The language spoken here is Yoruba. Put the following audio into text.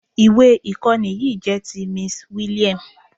Ìwé ìkọ́ni yìí jẹ́ ti Miss William.